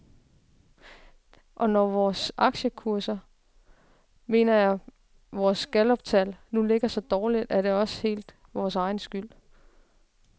Og når vores aktiekurser, hermed mener jeg vores galluptal, nu ligger så dårligt, er det også helt vores egen skyld.